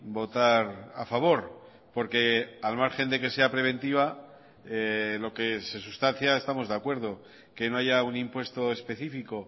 votar a favor porque al margen de que sea preventiva lo que se sustancia estamos de acuerdo que no haya un impuesto específico